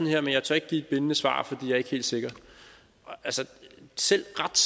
her men jeg tør ikke give et bindende svar fordi jeg er ikke helt sikker selv ret